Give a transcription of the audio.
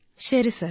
ശരി സർ